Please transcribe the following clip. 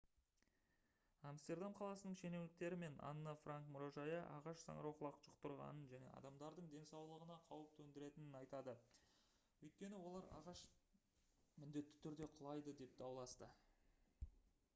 амстердам қаласының шенеуніктері мен анна франк мұражайы ағаш саңырауқұлақ жұқтырғанын және адамдардың денсаулығына қауіп төндіретінін айтады өйткені олар ағаш міндетті түрде құлайды деп дауласты